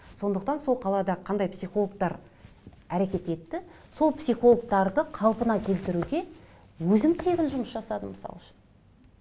сондықтан сол қалада қандай психологтар әрекет етті сол психологтарды қалпына келтіруге өзім тегін жұмыс жасадым мысал үшін